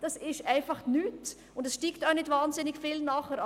Das ist einfach nichts, und nachher steigt es auch nicht wahnsinnig viel an.